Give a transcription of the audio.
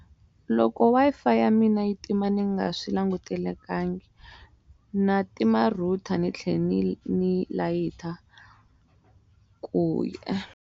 Loko Wi-Fi ya mina yi tima ni nga swi langutelekangi na tima router ni tlhe ni layita ku .